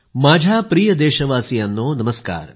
माझ्या प्रिय देशवासियांनो नमस्कार